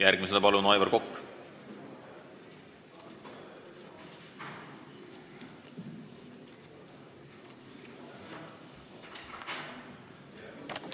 Järgmisena palun Aivar Kokk!